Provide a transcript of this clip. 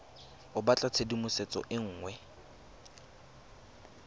o batla tshedimosetso e nngwe